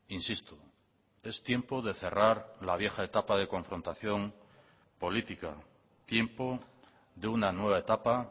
insisto es tiempo de cerrar la vieja etapa de confrontación política tiempo de una nueva etapa